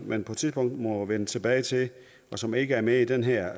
man på et tidspunkt må vende tilbage til og som ikke er med i det her